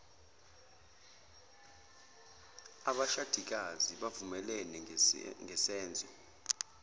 abashadikazi bavumelene ngesenzo